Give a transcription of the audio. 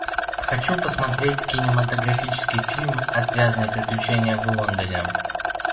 хочу посмотреть кинематографический фильм отвязные приключения в лондоне